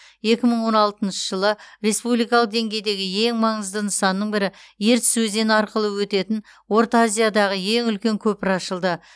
екі мың он алтыншы жылы республикалық деңгейдегі ең маңызды нысанның бірі ертіс өзені арқылы өтетін орта азиядағы ең үлкен көпір ашылды